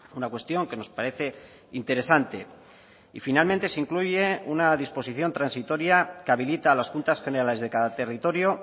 una cuestión que nos parece interesante y finalmente se incluye una disposición transitoria que habilita a las juntas generales de cada territorio